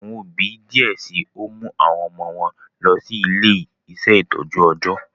Awọn òbí diẹ síi o mu awọn ọmọ wọn lọ si ile-iṣẹ itọju ọjọ